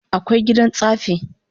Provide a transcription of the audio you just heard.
Akwai gidan tsaffi